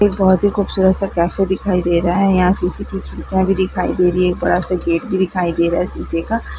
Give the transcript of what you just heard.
एक बहुत खूबसूरत सा कैफे दिखाई दे रहा है यहाँ शिशे की खिड़कियां दिखाई दे रही है एक बड़ा सा गेट भी दिखाई दे रहा है शीशे का।